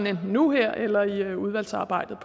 enten nu her eller i udvalgsarbejdet